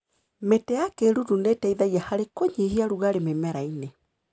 Mĩtĩ ya kĩruru nĩiteithagia harĩ kũnyihia rugarĩ mĩmerainĩ.